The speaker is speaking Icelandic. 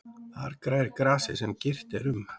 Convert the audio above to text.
Þar grær grasið sem girt er um.